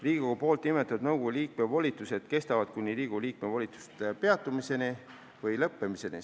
Riigikogu nimetatud nõukogu liikme volitused kestavad kuni Riigikogu liikme volituste peatumiseni või lõppemiseni.